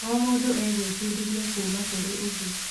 O mũndũ egwĩbundithia kuuma kũrĩ ũngĩ.